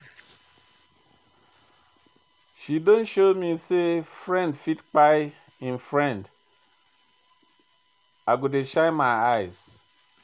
She don show me sey friend fit kpai im friend, I go shine my eyes.